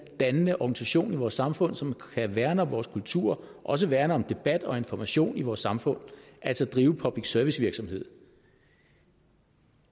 og dannende organisation i vores samfund som kan værne om vores kultur og som værne om debatten og informationen i vores samfund altså drive public service virksomhed